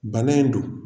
Bana in don